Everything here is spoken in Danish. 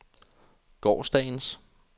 gårsdagens